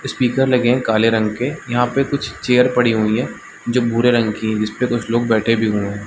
Speaker लगे हैं काले रंग के यहाँ पे कुछ चेयर पड़ी हुई हैं जो भूरे रंग की हैं जिस पे कुछ लोग बैठे भी हुए हैं।